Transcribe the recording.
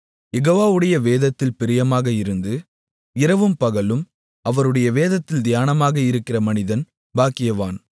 யெகோவாவுடைய வேதத்தில் பிரியமாக இருந்து இரவும் பகலும் அவருடைய வேதத்தில் தியானமாக இருக்கிற மனிதன் பாக்கியவான்